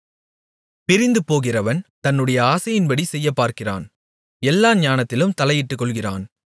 பிரிந்து போகிறவன் தன்னுடைய ஆசையின்படி செய்யப்பார்க்கிறான் எல்லா ஞானத்திலும் தலையிட்டுக் கொள்ளுகிறான்